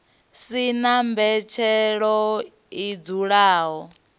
si na mbetshelo i dzulaho